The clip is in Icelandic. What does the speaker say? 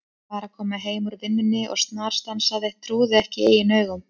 Var að koma heim úr vinnunni og snarstansaði, trúði ekki eigin augum.